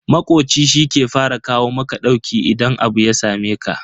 Makoci shi ke fara kawo maka ɗauki idan abu ya sameka.